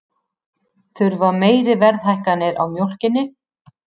Þurfa meiri verðhækkanir á mjólkinni